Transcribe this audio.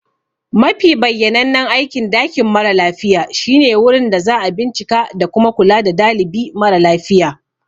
Mafi bayyanannen aikin dakin mara lafiya shine wurin da za a bincika da kuma kula da dalibi mara lafiya.